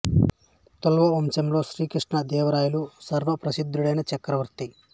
తుళువ వంశములో శ్రీ కృష్ణ దేవరాయలు సర్వ ప్రసిద్ధుడైన చక్రవర్తి